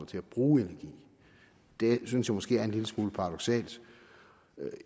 til at bruge energi det synes jeg måske er en lille smule paradoksalt